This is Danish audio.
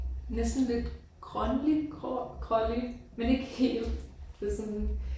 Næsten lidt grønlig grå grålig men ikke helt det sådan